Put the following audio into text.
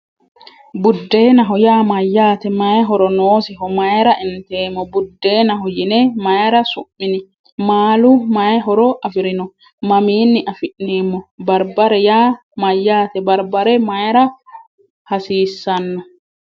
Buddeenaho yaa mayyaate? May horo noosiho? Mayra inteemmo? Buddeenaho yine mayra su'mini? Maalu may horo afirino? Mamiinni afi'neemmo? Barbare yaa mayyaate? Barbare mayra hasiissanno?